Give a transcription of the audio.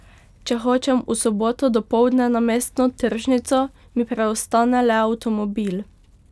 Če hočem v soboto dopoldne na mestno tržnico, mi preostane le avtomobil.